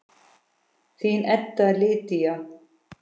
Þín Edda Lydía.